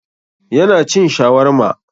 Yana cin shawarma.